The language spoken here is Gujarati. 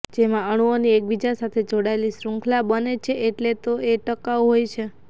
જેમાં અણુઓની એકબીજા સાથે જોડાયેલી શૃંખલા બને છે એટલે તો એ ટકાઉ હોય છે